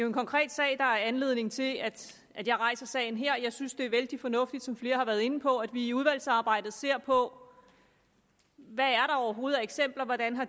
en konkret sag der er anledning til at jeg rejser sagen her jeg synes det er vældig fornuftigt som flere har været inde på at vi i udvalgsarbejdet ser på hvad der overhovedet er af eksempler hvordan